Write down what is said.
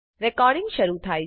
recording શરુ થાય છે